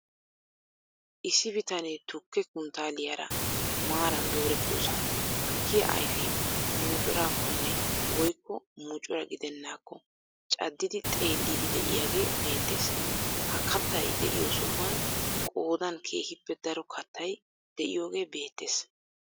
Issi bitaanee tukkee kunttaaliyaara maaran doorettidosan tukkiyaa ayfee muccurakkonne woykko muccura gidenakko caaddidi xeelliidi de'iyaage beettees. Ha kaattay de'iyo sohuwaan qoodan keehippe daro kaattay de'iyoogee beettees.